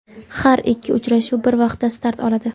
Har ikki uchrashuv bir vaqtda start oladi.